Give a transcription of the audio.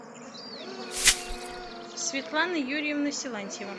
светлана юрьевна силантьева